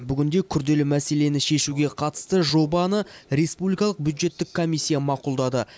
бүгінде күрделі мәселені шешуге қатысты жобаны республикалық бюджеттік комиссия мақұлдады